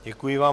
Děkuji vám.